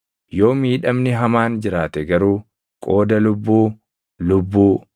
Yoo miidhamni hamaan jiraate garuu, qooda lubbuu, lubbuu;